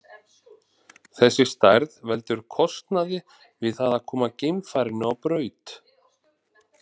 Þessi stærð veldur kostnaði við það að koma geimfarinu á braut.